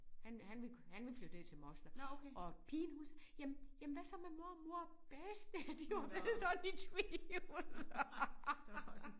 Han han ville han ville flytte ned til moster og pigen hun jamen jamen hvad med mormor og bedste de var blevet sådan i tvivl